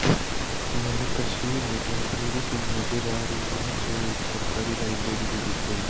यह तस्वीर एक लाइब्रेरी की नजर आ रही है जो एक सरकारी लाइब्रेरी भी दिख रही--